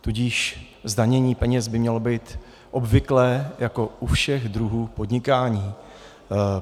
Tudíž zdanění peněz by mělo být obvyklé jako u všech druhů podnikání.